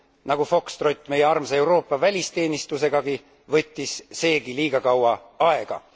Nagu fokstrott meie armsa Euroopa välisteenistusegagi, võttis seegi liiga kaua aega.